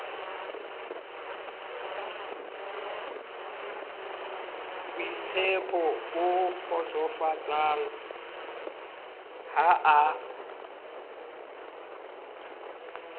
boitshepo bo kgotsofatsang ha a